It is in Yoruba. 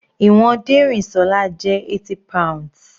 Ìwọ̀n Derinsola jẹ́ 80 pounds.